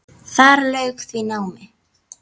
Þar lauk því námi.